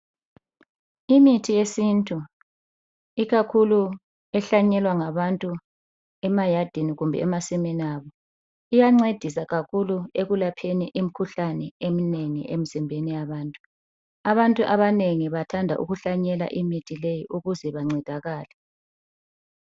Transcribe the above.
Imithi yesintu ikakhulu ehlanyelwa ngabantu emayadini kumbe emasimini abo iyancedisa kakhulu ekulapheni imkhuhlane eminengi emzimbeni yabantu. Abantu abanengi bathanda ukuhlanyela imithi leyi ukuze bancedakale.